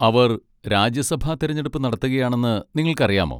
അവർ രാജ്യസഭാ തിരഞ്ഞെടുപ്പ് നടത്തുകയാണെന്ന് നിങ്ങൾക്കറിയാമോ?